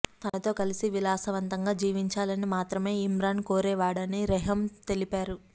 తనతో కలిసి విలాసవంతంగా జీవించాలని మాత్రమే ఇమ్రాన్ కోరేవాడని రెహమ్ తెలిపారు